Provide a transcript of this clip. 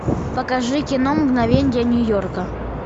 покажи кино мгновения нью йорка